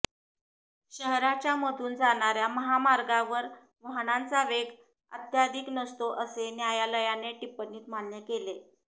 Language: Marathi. शहराच्या मधून जाणाऱया महामार्गांवर वाहनांचा वेग अत्याधिक नसतो असे न्यायालयाने टिप्पणीत मान्य केले